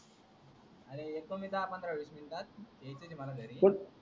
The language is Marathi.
अर येतो येतो मी दहा पंधरा वीस मिनटात यायचंच ये मला घरी